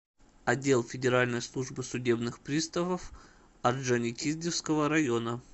отдел федеральной службы судебных приставов орджоникидзевского района